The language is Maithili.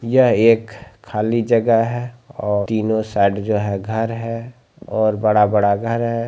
यह एक खाली जगह है और तीनो साइड जो है घर है और बड़ा-बड़ा घर है।